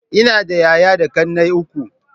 Ina da yaya da ƙannai uku.